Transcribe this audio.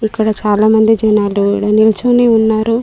అక్కడ చాలామంది జనాలు కూడా నిల్చొని ఉన్నారు.